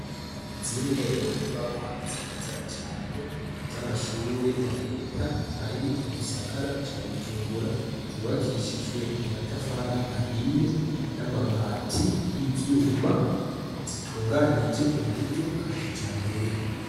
Zimwe mu nyubakwa nziza cane z'amashure ya Leta ari mu gisakara ca Bujumbura zubakishijwe amatafari ahiye n'amabati y'ivyuma zitunganije mu buryo bwa kijambere.